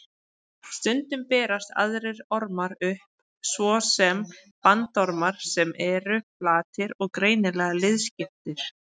Stundum berast aðrir ormar upp, svo sem bandormar sem eru flatir og greinilega liðskiptir.